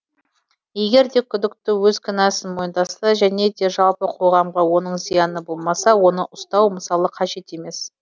егер де күдікті өз кінәсін мойындаса және де жалпы қоғамға оның зияны болмаса оны ұстау мысалы қажет емес